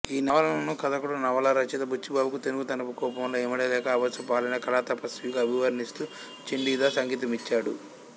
ఈ నవలను కథకుడు నవలా రచయిత బుచ్చిబాబుకు తెనుగుతనపు కూపంలో ఇమడలేక అభాసుపాలైన కళాతపస్విగా అభివర్ణిస్తూ చండీదాస్ అంకితమిచ్చాడు